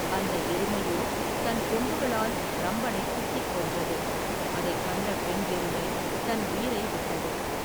அந்த எருமையோ தன் கொம்புகளால் ரம்பனை குத்திக் கொண்றது அதை கண்ட பெண் எருமை தன் உயிரை விட்டது.